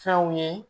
Fɛnw ye